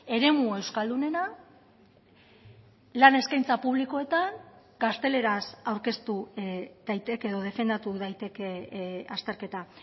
eremu euskaldunena lan eskaintza publikoetan gazteleraz aurkeztu daiteke edo defendatu daiteke azterketa